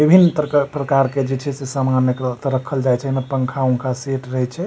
विभिन्न परकार प्रकार के जे छे से समान ऐकरो त रखल जाए छे एमे पंखा-ऊंखा सेट रहे छे।